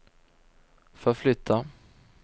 förflytta